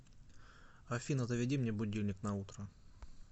афина заведи мне будильник на утро